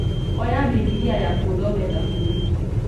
Oya Bibilia yaku ũthome thaburi